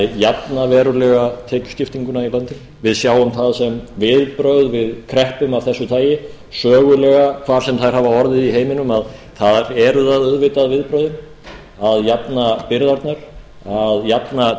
jafna verulega tekjuskiptinguna í landinu við sjáum það sem viðbrögð við kreppum af þessu tagi sögulega hvar sem þær hafa orðið í heiminum að þar eru það auðvitað viðbrögðin að jafna byrðarnar að jafna